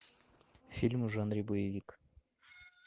фильм в жанре боевик